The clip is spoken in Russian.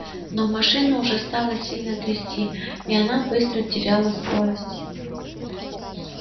но машину уже стало сильно трясти и она быстро теряла скорость